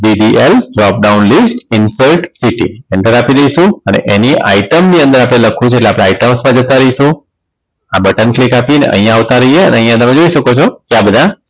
DDLjob down list insert city enter આપી દઈશું અને એની item ની અંદર આપણે લખવું છે એટલે આપણે items માં જતા રહીશું આ button click આપીને અહીંયા આવતા રહીએ અને અહીંયા તમે જોઈ શકો છો કે આ બધા